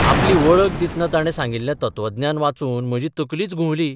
आपली बळख दितना तार्णे सांगिल्ले तत्वज्ञान वाचून म्हजी तकलीच घुंबली.